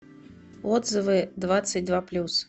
отзывы двадцать два плюс